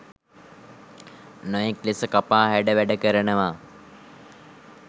නොයෙක් ලෙස කපා හැඩ වැඩ කරනවා.